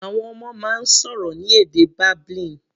Àwọn ọmọ máa ń sọ̀rọ̀ ní èdè babbling.